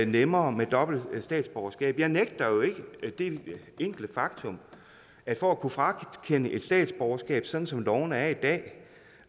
nemmere med dobbelt statsborgerskab jeg benægter jo ikke det enkle faktum at for at kunne frakende nogen et statsborgerskab sådan som lovene er i dag